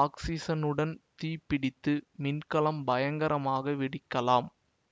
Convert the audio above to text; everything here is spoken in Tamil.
ஒக்சிசனுடன் தீப்பிடித்து மின்கலம் பயங்கரமாக வெடிக்கலாம்